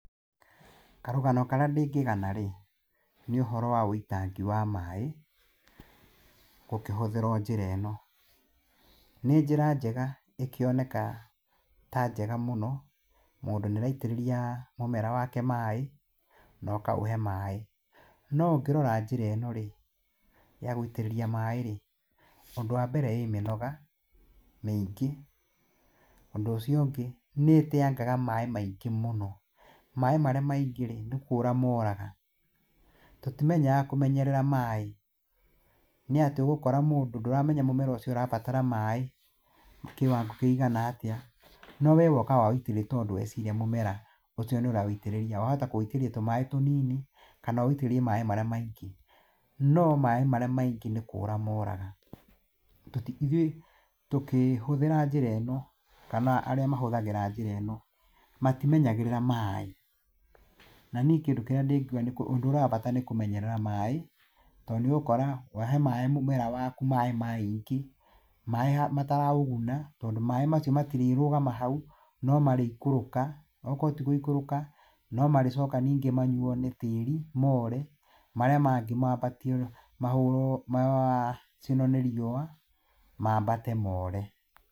Karũgano karĩa ndingĩgana rĩ, nĩ ũhoro wa wũitangi wa maĩ gũkĩhũthĩrwo njĩra ĩno. Nĩ njĩra njega ĩkĩoneka ta njega mũno, mũndũ nĩ araitĩrĩria mũmera wake maĩ na ũkaũhe maĩ. No ũngĩrora njĩra ĩno rĩ, ya gũitĩrĩria maĩ rĩ, ũndũ wambere ĩ mĩnoga mĩingĩ, ũndũ ũcio ũngĩ nĩteangaga maĩ maingĩ mũno, maĩ marĩa maingĩ rĩ, nĩ kũra moraga. Tũtimenyaga kũmenyerera maĩ nĩ atĩ ũgũkora mũndũ, ndũramenya mũmera ũcio ũrabatara maĩ kĩwango kĩigana atĩa, no we woka waũitĩrĩria tondũ weciria mũmera ũcio nĩ ũrawĩitĩrĩria, wahota kũwitĩrĩria tũmaĩ tũnini, kana ũwitĩrĩrie maĩ marĩa maingĩ. No maĩ marĩa maingĩ nĩ kũũra moraga. Ithuĩ tũkĩhũthĩra njĩra ĩno kana arĩa mahũthagĩra njĩra ĩno matimenyagĩrĩra maĩ. Na niĩ kĩndũ kĩrĩa ndingiuga nĩ ũndũ ũria wa bata nĩ kũmenyerera maĩ tondũ nĩ ũgũkora wahe maĩ mũmera waku maĩ maingĩ, maĩ mataraũguna tondũ maĩ macio matirĩ rũgama hau, no marĩikũrũka, okorwo ti gũikũrũka, no marĩcoka ningĩ manyuo nĩ tĩri moore, marĩa mangĩ mambatio macinwo nĩ riũa mambate moore.